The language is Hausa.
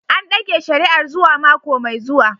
An dage shari'ar zuwa mako mai zuwa.